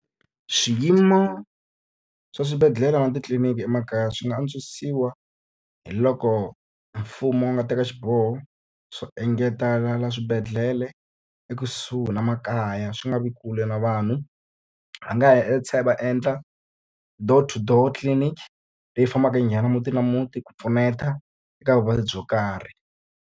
Swiyimo swa swibedhlele na titliliniki emakaya swi nga antswisiwa hi loko mfumo wu nga teka xiboho swo engetelela swibedhlele e kusuhi na makaya, swi nga vi kule na vanhu. Va nga va endla door to door clinic, leyi fambaka yi nghena muti ni muti ku pfuneta eka vuvabyi byo karhi.